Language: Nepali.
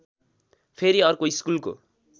फेरि अर्को स्कुलको